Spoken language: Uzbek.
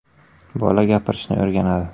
“Bola gapirishni o‘rganadi.